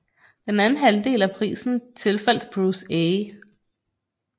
Den anden halvdel af prisen tilfaldt Bruce A